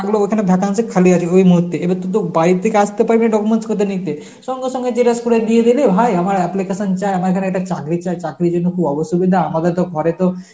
ওখানে vacancy খালি আছে ওই মুহূর্তে এইবার তুইতো বাড়ি থেকে আসতে পারবিনা documents গুলো নিতে. সঙ্গে সঙ্গে xerox করে দিয়ে দেবে হাই আমার application চা~ আমার এখন একটা চাকরি চাই চাকরির জন্য খুব অসুবিধা আমাদের তো ঘরে তো